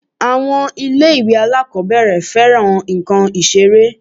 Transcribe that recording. Àwọn ilé-ìwé alákọ̀ọ́bẹ̀rẹ̀ fẹ́ran nǹkan Ìṣeré